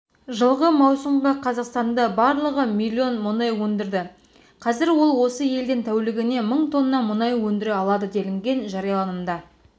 жылғы маусымға қазақстанда барлығы миллион мұнай өндірді қазір ол осы елден тәулігіне мың тонна мұнай өндіре алады делінген жарияланымда